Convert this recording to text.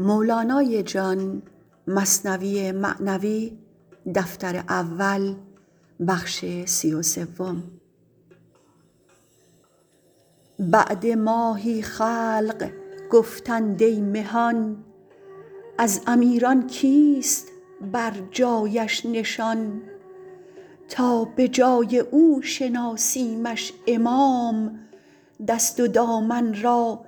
بعد ماهی خلق گفتند ای مهان از امیران کیست بر جایش نشان تا به جای او شناسیمش امام دست و دامن را